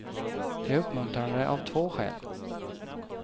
Det är uppmuntrande av två skäl.